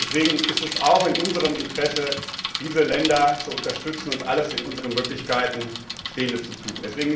Deswegen ist es auch in unserem Interesse, diese Länder zu unterstützen und alles in unseren Möglichkeiten Stehende zu tun.